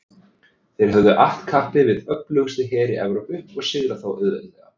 þeir höfðu att kappi við öflugustu heri evrópu og sigrað þá auðveldlega